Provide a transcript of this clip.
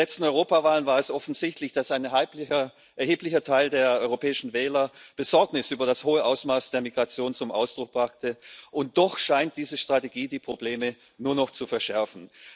Bei den letzten Europawahlen war es offensichtlich, dass ein erheblicher Teil der europäischen Wähler Besorgnis über das hohe Ausmaß der Migration zum Ausdruck brachte, und doch scheint diese Strategie die Probleme nur noch zu verschärfen.